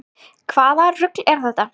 Hvaða rugl er það?